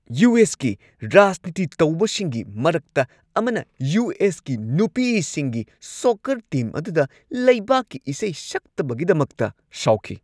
U. S. ꯀꯤ ꯔꯥꯖꯅꯤꯇꯤ ꯇꯧꯕꯁꯤꯡꯒꯤ ꯃꯔꯛꯇ ꯑꯃꯅ ꯌꯨ. ꯑꯦꯁ. ꯀꯤ ꯅꯨꯄꯤꯁꯤꯡꯒꯤ ꯁꯣꯛꯀꯔ ꯇꯤꯝ ꯑꯗꯨꯗ ꯂꯩꯕꯥꯛꯀꯤ ꯏꯁꯩ ꯁꯛꯇꯕꯒꯤꯗꯃꯛꯇ ꯁꯥꯎꯈꯤ ꯫